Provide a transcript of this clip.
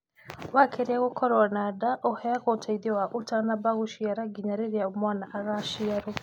Warĩkia gũkorwo na nda, ũheagwo ũteithio wa ũtanamba gũciara ginya rĩrĩa mwana agaciarwo.